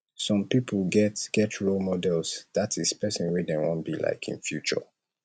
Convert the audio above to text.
some pipo get get role models ie persin wey dem won be like in future